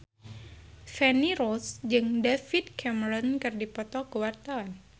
Feni Rose jeung David Cameron keur dipoto ku wartawan